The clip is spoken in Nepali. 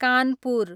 कानपुर